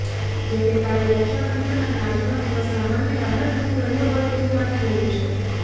જો કે કાલે રક્ષાબંધન અને આજનો દિવસ સામાન્ય રાહતરૂપ રહ્યો હોય તેવું લાગી રહ્યું છે